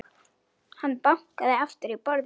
Hann bankaði aftur í borðið.